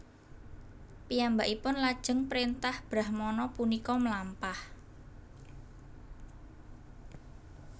Piyambakipun lajeng prentah brahmana punika mlampah